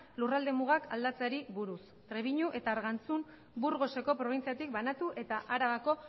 lurralde mugak aldatzeari buruz trebiñu eta argantzun burgoseko probintziatik banatu eta arabako